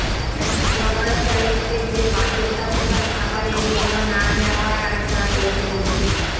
বনলতা এক্সপ্রেসে বাধ্যতামূলক খাবারের মূল্য না নেওয়ার আশ্বাস রেলমন্ত্রীর